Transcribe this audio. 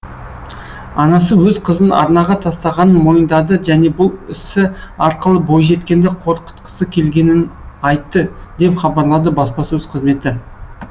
анасы өз қызын арнаға тастағанын мойындады және бұл ісі арқылы бойжеткенді қорқытқысы келгенін айтты деп хабарлады баспасөз қызметі